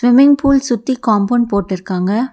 Swimming pool சுத்தி compound போட்டுருக்காங்க.